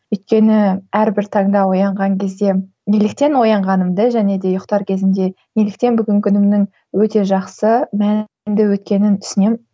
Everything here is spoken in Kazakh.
өйткені әрбір таңда оянған кезде неліктен оянғанымды және де ұйықтар кезімде неліктен бүгінгі күнімнің өте жақсы мәнді өткенін түсінемін